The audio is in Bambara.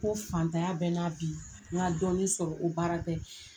Ko fantanya bɛna bi n ka dɔnni sɔrɔ o baara tɛ.